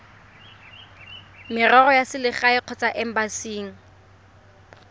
merero ya selegae kgotsa embasing